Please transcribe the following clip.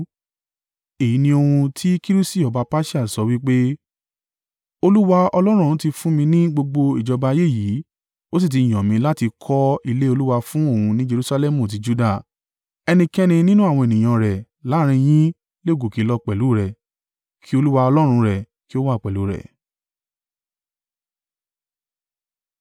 “Èyí ni ohun tí Kirusi ọba Persia sọ wí pé: “ ‘Olúwa, Ọlọ́run ọ̀run, ti fún mí ní gbogbo ìjọba ayé yìí, ó sì ti yàn mí láti kọ́ ilé Olúwa fún òun ní Jerusalẹmu ti Juda. Ẹnikẹ́ni nínú àwọn ènìyàn rẹ̀ láàrín yín le gòkè lọ pẹ̀lú rẹ̀; kí Olúwa Ọlọ́run rẹ̀ kí ó wà pẹ̀lú rẹ̀.’ ”